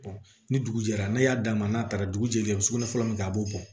ni dugu jɛra n'a y'a d'a ma n'a taara dugu jɛlen a bɛ sugunɛ fɔlɔ min kɛ a b'o bɔn